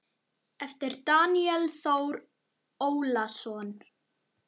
eftir Daníel Þór Ólason